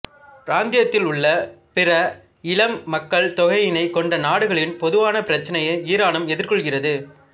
பிராந்தியத்தில் உள்ள பிற இளம் மக்கள் தொகையினை கொண்ட நாடுகளின் பொதுவான பிரச்சினையை ஈரானும் எதிர்கொள்கிறது